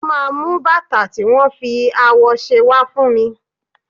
Ó máa mú bàtà tí wón fi awọ ṣe wá fún mi.